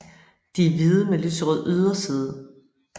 De er hvide med lyserød yderside